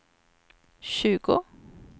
tjugo